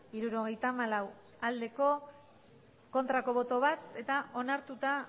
hirurogeita hamalau bai bat ez eta